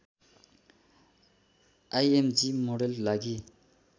IMG model लागि